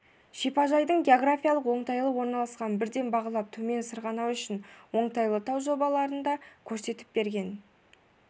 шипажайдың географиялық оңтайлы орналасқанын бірден бағалап төмен сырғанау үшін оңтайлы тау жобаларын да көрсетіп берген